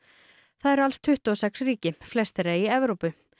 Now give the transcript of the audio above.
það eru alls tuttugu og sex ríki flest þeirra í Evrópu